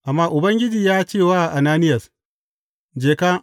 Amma Ubangiji ya ce wa Ananiyas, Je ka!